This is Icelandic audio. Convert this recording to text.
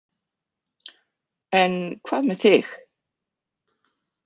En hvað með þig?